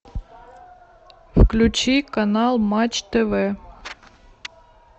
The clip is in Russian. включи канал матч тв